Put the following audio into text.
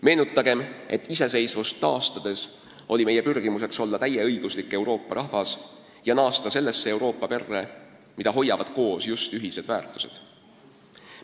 Meenutagem, et iseseisvust taastades oli meie pürgimus olla täieõiguslik Euroopa rahvas ja naasta sellesse Euroopa perre, mida hoiavad koos just ühised väärtused.